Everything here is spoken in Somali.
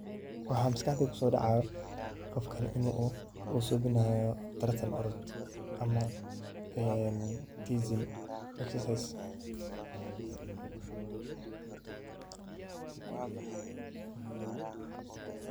Waxaa maskaxdeyda ku soo dhacaayo qofkan in uu suubinayo tartan-orod, ama[tizzing, exercise].